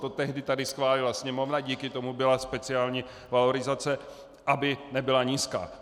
To tehdy tady schválila Sněmovna, díky tomu byla speciální valorizace, aby nebyla nízká.